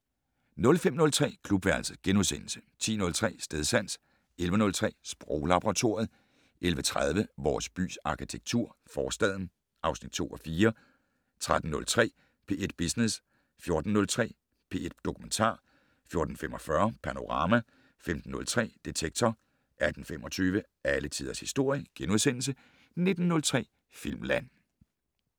05:03: Klubværelset * 10:03: Stedsans 11:03: Sproglaboratoriet 11:30: Vores bys arkitektur - Forstaden (2:4) 13:03: P1 Business 14:03: P1 Dokumentar 14:45: Panorama 15:03: Detektor 18:25: Alle tiders historie * 19:03: Filmland *